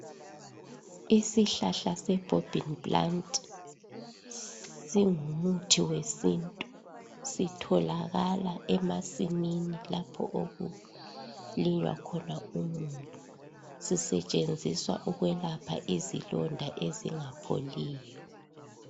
Isihlahla se bhobhini planti singumuthi wesintu, sitholakala emasini lapho okulinywa khona umumbu, sisetshenziswa ukwelapha izilonda ezingapholiyo.